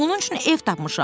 Onun üçün ev tapmışam.